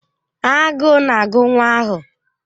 Agụụ na-agụ nwa ahụ.